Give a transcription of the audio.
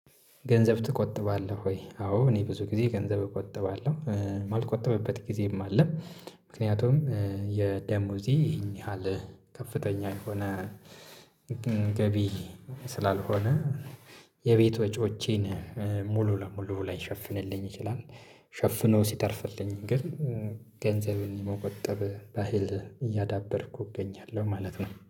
ገንዘብ ትቆጥባለህ ወይ? አዎ እኔ ብዙ ጊዜ ገንዘብ እቆጥባለሁ ማልቆጠብበት ጊዜም አለም ምክንያቱም የ ደሞዜ ይሄን ያህል ከፍተኛ የሆነ ገቢ ስላልሆነ የቤቶት ወጪዎቼን ሙሉ ለሙሉ ላይሸፍንልኝ ይችላል ሸፍኖ ሲተርፍልኝ ግን ገንዘብን የመቆጠብ ባህል እያዳበርኩ እገኛለሁ ማለት ነው